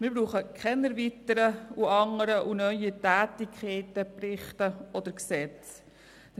Wir brauchen keine anderen und neuen Tätigkeiten, Berichte oder Gesetze.